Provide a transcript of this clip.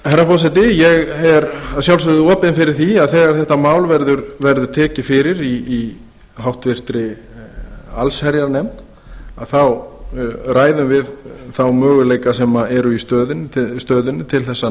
herra forseti ég er að sjálfsögðu opinn fyrir því að þegar þetta mál verður tekið fyrir í háttvirta allsherjarnefnd að þá ræðum við þá möguleika sem eru í stöðunni til að